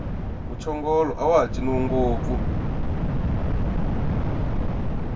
muchongolo awaha ciniwi ngopfu